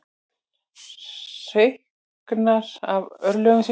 Hreyknar af örlögum sínum.